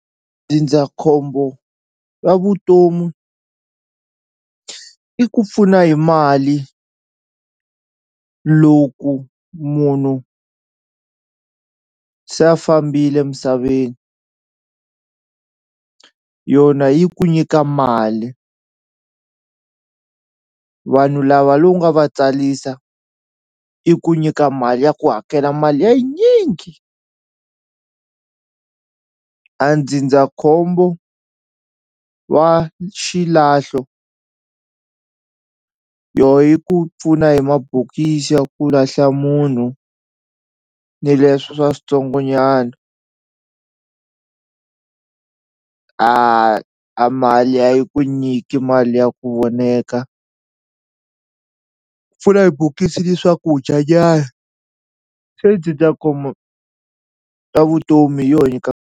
Ndzindzakhombo wa vutomi i ku pfuna hi mali loku munhu se a fambile misaveni yona yi ku nyika mali vanhu lava lowu nga va tsalisa i ku nyika mali ya ku hakela mali ya yinyingi a ndzindzakhombo wa xilahlo yo yi ku pfuna hi mabokisi ya ku lahla munhu ni leswi swa switsongo nyana a a mali a yi ku nyiki mali ya ku voneka pfuna hi bokisi ni swakudya nyana se ta vutomi hi yo nyika.